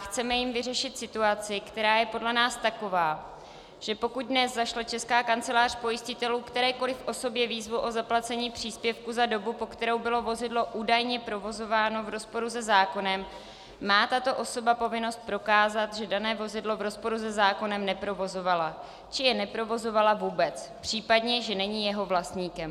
Chceme jím vyřešit situaci, která je podle nás taková, že pokud dnes zašle Česká kancelář pojistitelů kterékoliv osobě výzvu o zaplacení příspěvku za dobu, po kterou bylo vozidlo údajně provozováno, v rozporu se zákonem, má tato osoba povinnost prokázat, že dané vozidlo v rozporu se zákonem neprovozovala, či jej neprovozovala vůbec, případně že není jeho vlastníkem.